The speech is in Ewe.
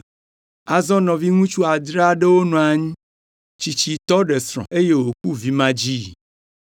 Azɔ nɔviŋutsu adre aɖewo nɔ anyi. Tsitsitɔ ɖe srɔ̃, eye wòku vimadzii.